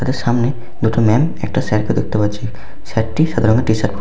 তাদের সামনে দুটো ম্যাম একটা স্যার কেও দেখতে পাচ্ছি। স্যার টি সাদা রঙের টিশার্ট প --